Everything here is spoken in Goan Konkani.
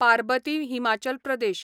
पारबती हिमाचल प्रदेश